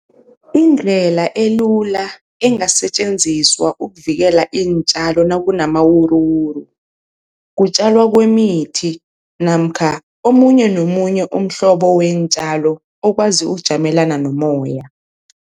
Indlela elula engasetjenziswa ukuvikela iintjalo nakunamawuruwuru, kutjalwa kwemithi namkha omunye nomunye umhlobo weentjalo okwazi ukujamelana nomoya.